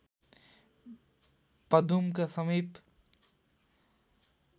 पदुमका समिप